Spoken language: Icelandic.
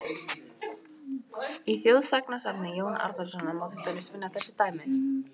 Í þjóðsagnasafni Jóns Árnasonar má til dæmis finna þessi dæmi: